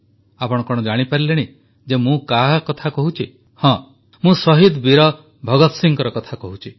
ଆପଣ କଣ ଜାଣିପାରିଲେଣି ଯେ ମୁଁ କାହା କଥା କହୁଛି ହଁ ମୁଁ ଶହୀଦ ବୀର ଭଗତ ସିଂହଙ୍କ କଥା କହୁଛି